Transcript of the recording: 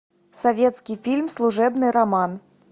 советский фильм служебный роман